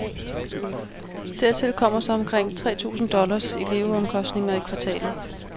Dertil kommer så omkring tre tusind dollars i leveomkostninger i kvartalet.